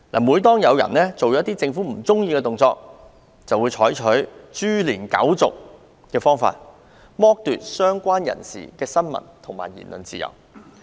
每當有人做出政府不喜歡的行為，當局便會採取"株連九族"的做法，剝奪相關人士的新聞和言論自由。